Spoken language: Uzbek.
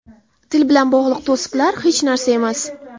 Til bilan bog‘liq to‘siqlar hech narsa emas.